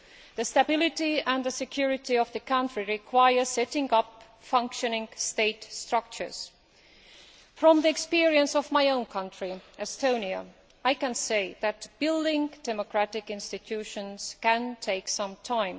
The stability and security of the country require the setting up of functioning state structures. From the experience of my own country, Estonia, I can say that building democratic institutions can take some time.